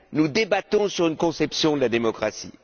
Nous débattons sur une conception de la démocratie.